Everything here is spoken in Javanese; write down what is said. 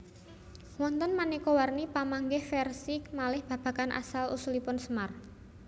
Wonten maneka warni pamanggih versi malih babagan asal usulipun Semar